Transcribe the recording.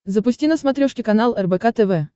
запусти на смотрешке канал рбк тв